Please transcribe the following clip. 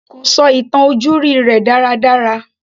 Kò sọ ìtàn ojúrí rẹ̀ dára dára.